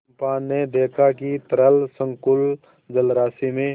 चंपा ने देखा कि तरल संकुल जलराशि में